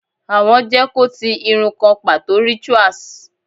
Awọn je kò ti iru kan pato rituals